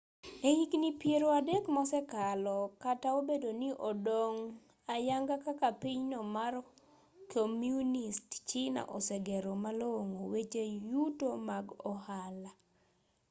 e higni piero adek mosekalo kata obedo ni odong' ayanga kaka pinyno mar komunist china osegero malong'o weche yuto mag ohala